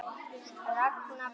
Ragna Björg.